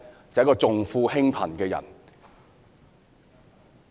就是一個重富輕貧的人。